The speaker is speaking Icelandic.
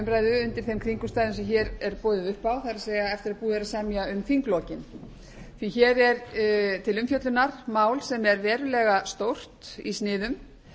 umræðu undir þeim kringumstæðum sem hér er boðið upp á það er eftir að búið er að semja um þinglok því að hér er til umfjöllunar mál sem er verulega stórt í sniðum